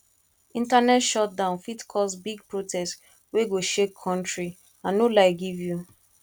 internet shutdown fit cause big protest wey go shake country i no lie give you